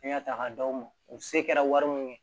Fɛn y'a ta k'a d'aw ma u se kɛra wari mun ye